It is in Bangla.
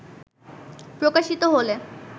প্রকাশিত হলে